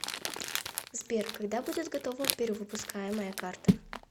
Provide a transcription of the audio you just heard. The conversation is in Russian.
сбер когда будет готова перевыпускаемая карта